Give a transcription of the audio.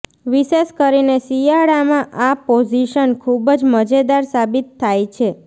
વિશેષ કરીને શિયાળામાં આ પોઝિશન ખૂબ જ મજેદાર સાબિત થાય છે